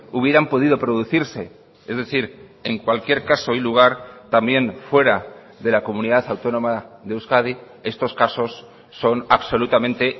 hubieran podido producirse es decir en cualquier caso y lugar también fuera de la comunidad autónoma de euskadi estos casos son absolutamente